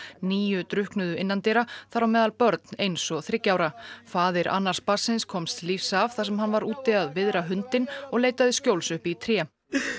níu drukknuðu innandyra þar á meðal börn eins og þriggja ára faðir annars barnsins komst lífs af þar sem hann var úti að viðra hundinn og leitaði skjóls uppi í tré